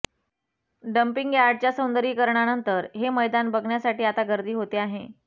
dumping यार्डच्या सौंदर्यीकरणानंतर हे मैदान बघण्यासाठी आता गर्दी होते आहे